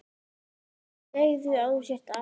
Segðu að þú sért api!